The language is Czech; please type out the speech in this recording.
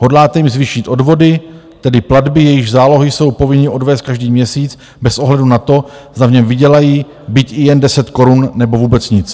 Hodláte jim zvýšit odvody, tedy platby, jejichž zálohy jsou povinni odvést každý měsíc bez ohledu na to, zda v něm vydělají byť i jen 10 korun, nebo vůbec nic.